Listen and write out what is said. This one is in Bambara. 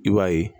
I b'a ye